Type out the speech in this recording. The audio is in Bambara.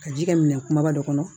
Ka ji kɛ minan kumaba dɔ kɔnɔ